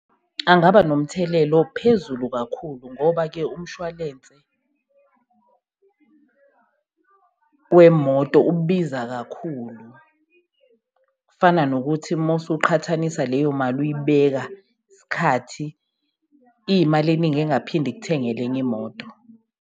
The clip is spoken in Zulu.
Angaba nomthelela ophezulu kakhulu ngoba-ke umshwalense wemoto ubiza kakhulu. Kufana nokuthi mowusuqhathanisa leyo mali uyibeka isikhathi, iyimali eningi engaphinde ikuthengele enye imoto.